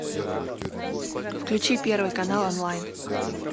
включи первый канал онлайн